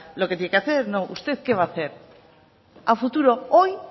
lo que tiene que hacer usted qué va a hacer a futuro hoy